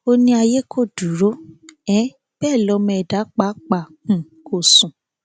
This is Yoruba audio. ó ní ayé kò dúró um bẹẹ lọmọ ẹdá pàápàá um kò sùn